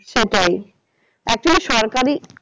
সেটাই actually সরকারি